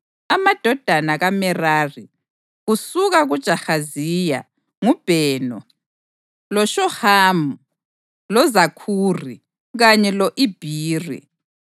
Amadodana kaMerari: Kusuka kuJahaziya: nguBheno, loShohamu, loZakhuri kanye lo-Ibhiri.